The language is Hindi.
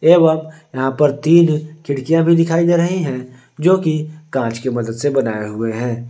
एवं यहां पर तीन खिड़कियां भी दिखाई दे रही हैं जो की कांच की मदद से बनाए हुए हैं।